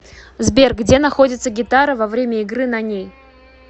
сбер где находится гитара во время игры на ней